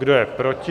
Kdo je proti?